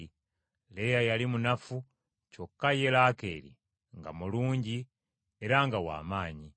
Leeya yali manafu, kyokka ye Laakeeri nga mulungi era nga w’amaanyi.